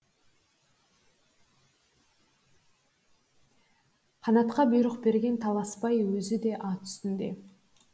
қанатқа бұйрық берген таласбай өзі де ат үстінде